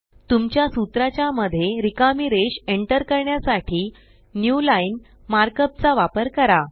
तुमच्या सूत्रा च्या मध्ये रिकामी रेष एंटर करण्यासाठी न्यूलाईन मार्कअप चा वापर करा